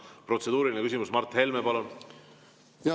Protseduuriline küsimus, Mart Helme, palun!